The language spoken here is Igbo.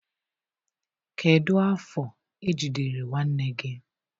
Kedu afọ ejidere nwanne gị.